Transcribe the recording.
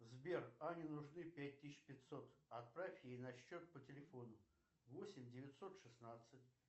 сбер ане нужны пять тысяч пятьсот отправь ей на счет по телефону восемь девятьсот шестнадцать